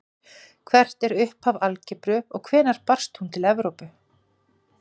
Hvert er upphaf algebru og hvenær barst hún til Evrópu?